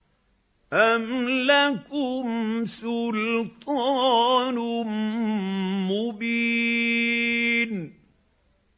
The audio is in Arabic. أَمْ لَكُمْ سُلْطَانٌ مُّبِينٌ